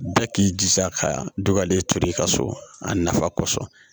Bɛɛ k'i jija ka dɔgɔlen to i ka so a nafa kɔsɔn